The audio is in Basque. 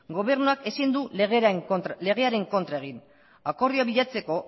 gobernuak ezin du legearen kontra egin akordioa bilatzeko